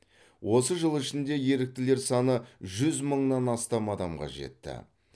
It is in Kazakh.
осы жыл ішінде еріктілер саны жүз мыңнан астам адамға жетті